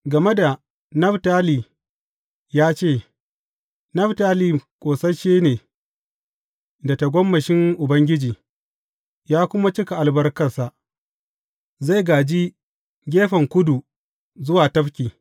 Game da Naftali ya ce, Naftali ƙosasshe ne da tagomashin Ubangiji, ya kuma cika albarkarsa; zai gāji gefen kudu zuwa tafki.